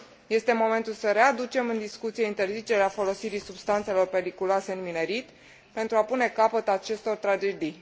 Este momentul să readucem în discuție interzicerea folosirii substanțelor periculoase în minerit, pentru a pune capăt acestor tragedii.